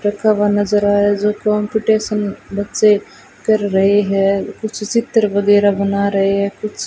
रखा हुआ नजर आ रहा जो कंपटीशन बच्चों कर रहे हैं कुछ चित्र वगैरा बना रहे हैं कुछ --